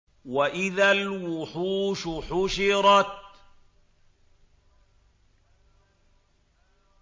وَإِذَا الْوُحُوشُ حُشِرَتْ